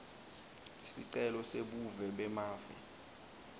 sicelo sebuve bemave